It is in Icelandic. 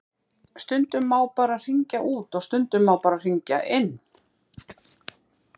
Stundum má bara hringja út og stundum má bara hringja inn.